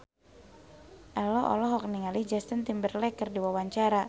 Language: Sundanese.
Ello olohok ningali Justin Timberlake keur diwawancara